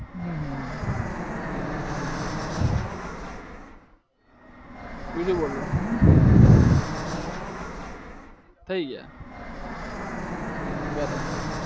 હમ હમમ બીજું બોલો બરાબર